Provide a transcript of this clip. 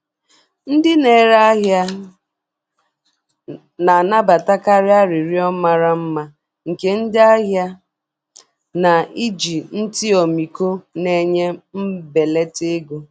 Ndị na-ere ahịa na-anabatakarị arịrịọ mara mma nke ndị ahịa, na-eji ntị ọmịiko na-enye mbelata ego.